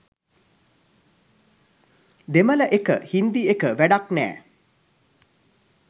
දෙමළ එක –හින්දි එක වැඩක් නෑ